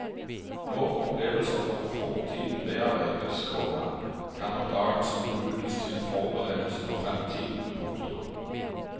Når opplevelser fra fortiden bearbeides, komma kan oppdagelsen brukes til forberedelse for fremtiden. punktum